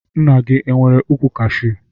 Nna gị e nwere ukwụ Kashu?